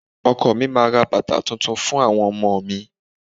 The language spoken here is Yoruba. Ọkọ mi máa ra bàtà tuntun fún àwọn ọmọ mi.